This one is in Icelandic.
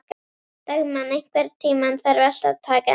Dagmann, einhvern tímann þarf allt að taka enda.